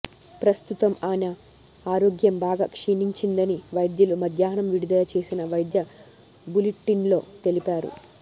ప్రస్తుతం ఆయన ఆరోగ్యం బాగా క్షీణించిందని వైద్యులు మధ్యాహ్నం విడుదల చేసిన వైద్య బులిటిన్లో తెలిపారు